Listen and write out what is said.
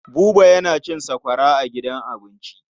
Buba yana cin sakwara a gidan abinci.